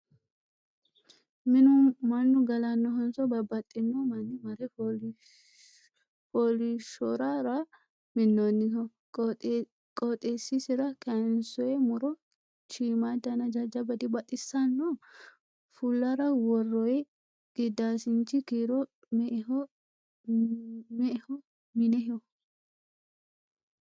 Minu mannu galanohonso babbaxino manni mare fooliishshorara minnoniho? Qooxesisira kayiinsoyi muro shiimmadanna jajjaba dibaxisanno? Fullara worroyi gidaasinchi kiiro me"eho mineho?